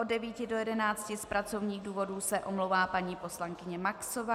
Od 9 do 11 z pracovních důvodů se omlouvá paní poslankyně Maxová.